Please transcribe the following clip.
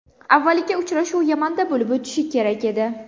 Avvaliga uchrashuv Yamanda bo‘lib o‘tishi kerak edi.